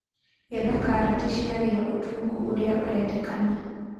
Getha karati ciagĩa ũtungu ũrĩa ũrendekana.